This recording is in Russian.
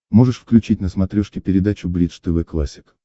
можешь включить на смотрешке передачу бридж тв классик